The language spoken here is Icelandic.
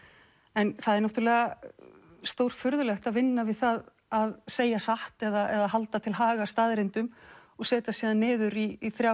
en það er náttúrulega stórfurðulegt að vinna við það að segja satt eða halda til haga staðreyndum og setjast síðan niður í þrjá